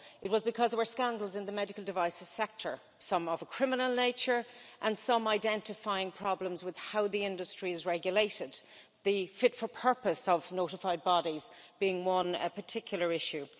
It was because there were scandals in the medical devices sector, some of a criminal nature, and some identifying problems with how the industry is regulated, the fit for purpose' of notified bodies being one particular issue.